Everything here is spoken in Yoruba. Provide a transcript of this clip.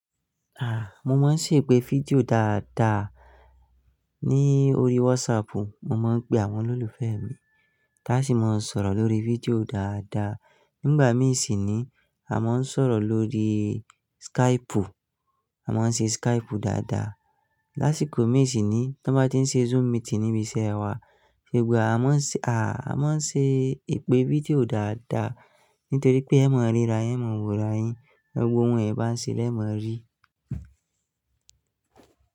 Ah! Mo máa ń ṣe ìpè fídíò dáadáa ní orí WhatsApp. Mo máa ń pe àwọn olólùfẹ́ mi, láti máa sọ̀rọ̀ lórí fídíò dáadáa. Nígbà mí ì sì nií, a máa ń sọ̀rọ̀ lórí Skype. A máa ń ṣe Skype dáadáa. Lásìkò mí ì sì nií, tí wọ́n bá ti ń ṣe Zoom meeting níbi iṣẹ́ wa, ṣùgbọ́n a máa ń ṣe, a máa ń ṣe ìpè fídíò dáadáa, nítorí pé ẹ máa ríra yin, e máa ń wo ara yin, gbogbo ohun ìbáṣe lẹ́ e maa ri.